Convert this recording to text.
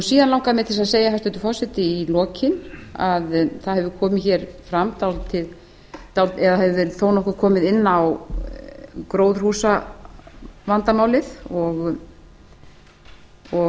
síðan langar mig til að segja hæstvirtur forseti í lokin að það hefur komið fram eða hefur verið þó nokkuð komið inn á gróðurhúsavandamálið og